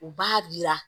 U b'a jira